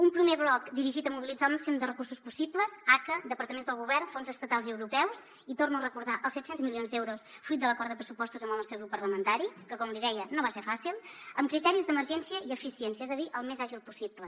un primer bloc dirigit a mobilitzar el màxim de recursos possibles aca departaments del govern fons estatals i europeus i ho torno a recordar els set cents milions d’euros fruit de l’acord de pressupostos amb el nostre grup parlamentari que com li deia no va ser fàcil amb criteris d’emergència i eficiència és a dir el més àgil possible